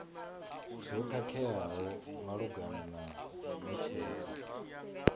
zwo khakheaho malugana na netshedzo